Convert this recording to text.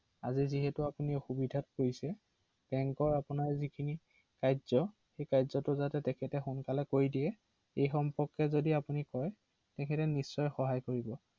হয়